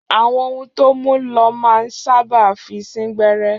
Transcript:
Àwọn ohun tó mú lọ́ máa ń sáábà fi sín gbẹ́rẹ́